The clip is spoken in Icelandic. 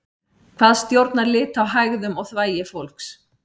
hvað stjórnar lit á hægðum og þvagi fólks